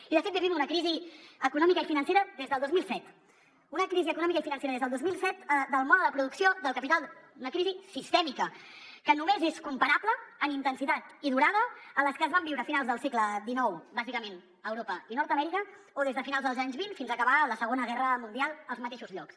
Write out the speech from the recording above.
i de fet vivim una crisi econòmica i financera des del dos mil set una crisi econòmica i financera des del dos mil set del mode de producció del capital una crisi sistèmica que només és comparable en intensitat i durada a les que es van viure a finals del segle xix bàsicament a europa i nord amèrica o des de finals dels anys vint fins a acabar la segona guerra mundial als mateixos llocs